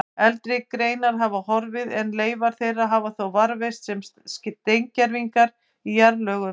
Eldri greinar hafa horfið en leifar þeirra hafa þó varðveist sem steingervingar í jarðlögum.